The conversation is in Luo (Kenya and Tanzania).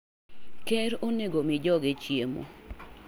Ker onego omi joge chiemo.